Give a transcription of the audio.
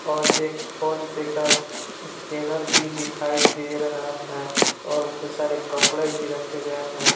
और एक फोनपे का स्कैनर भी दिखाई दे रहा है और बहुत सारे कपड़े भी रखे गए हैं।